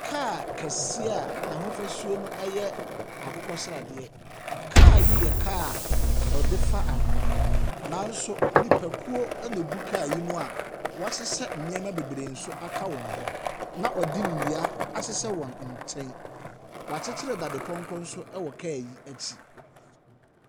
Kaa kɛseɛ a n'ahofasuo yɛ akokɔ sradeɛ. Kaa yi yɛ kaa a wɔde fa anwea, nanso nnipakuo na wɔgu kaa yi mu a wɔasesa nneɛma bebree nso aka wɔn hu, na wɔde nnua ahyehyɛ wɔn nkyɛn. Wɔakyekyere dadepɔnkɔ nso wɔ kaa yi akyi.